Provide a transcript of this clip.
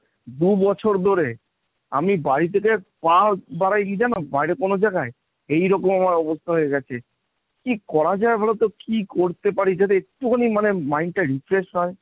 দু'বছর ধরে আমি বাড়ি থেকে পা বাড়াইনি জানো বাইরে কোনো জায়গায়, এইরকম আমার অবস্থা হয়ে গেছে কি করা যায় বলতো? কি করতে পারি? যাতে একটুখানি মানে mind টা refresh হয়।